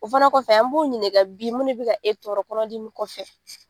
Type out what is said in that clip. O fana kɔfɛ an b'o ɲininka bi mun de be ka e tɔrɔ kɔnɔ dimi kɔfɛ?